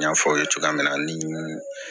N y'a fɔ aw ye cogoya min na ni